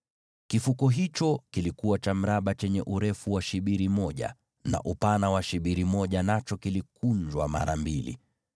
Kifuko hicho kilikuwa cha mraba, chenye urefu wa shibiri moja na upana wa shibiri moja, nacho kilikunjwa mara mbili.